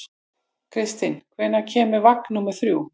Kristinn, hvenær kemur vagn númer þrjú?